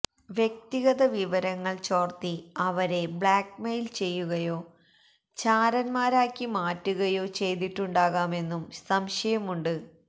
വ്യക്തിഗത വിവരങ്ങള് ചോര്ത്തി അവരെ ബ്ലാക്ക്മെയില് ചെയ്യുകയോ ചാരന്മാരാക്കി മാറ്റുകയോ ചെയ്തിട്ടുണ്ടാകാമെന്നും സംശയമുണ്ട്